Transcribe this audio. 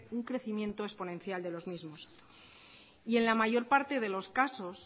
un crecimiento exponencial de los mismos y en la mayor parte de los casos